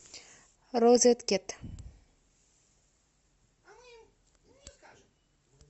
розеткед